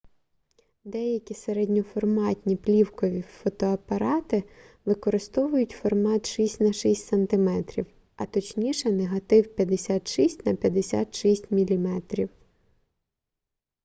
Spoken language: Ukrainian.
деякі середньоформатні плівкові фотоапарати використовують формат 6 на 6 см а точніше негатив 56 на 56 мм